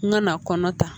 N ka na kɔnɔ ta